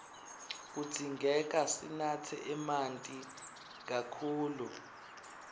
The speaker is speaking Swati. kudzingeka sinatse emanti kakhulu